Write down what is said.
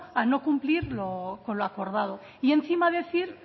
a no cumplir con lo acordado y encima decir